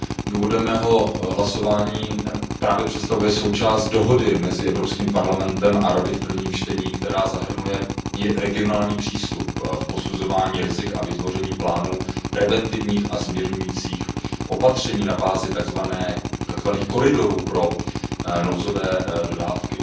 Důvod mého hlasování právě představuje součást dohody mezi Evropským parlamentem a Radou v prvním čtení, která zahrnuje regionální přístup v posuzování rizik a vytvoření plánu preventivních a zmírňujících opatření na bázi takzvaných koridorů pro nouzové dodávky.